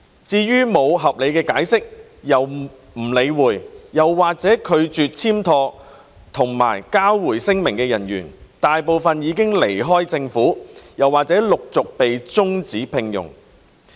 至於沒有合理解釋又不理會或拒絕簽妥和交回聲明的人員，大部分已離開政府或陸續被終止聘用。